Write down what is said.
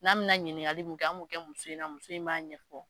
N'a bɛna ɲininkali min kɛ, an b'o kɛ muso in na muso in b'a ɲɛfɔ.